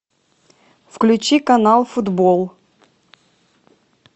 включи канал футбол